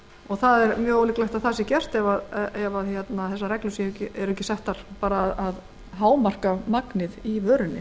viðskiptavinina það er mjög ólíklegt að það sé gert ef ekki eru settar reglur um hámarksmagn transfitusýra í